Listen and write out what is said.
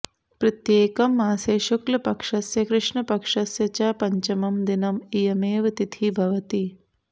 प्रत्येकं मासे शुक्लपक्षस्य कृष्णपक्षस्य च पञ्चमं दिनम् इयमेव तिथिः भवति